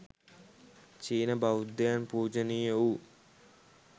චීන, බෞද්ධයින් පූජනීය වූ